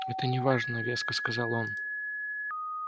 это не важно резко сказал он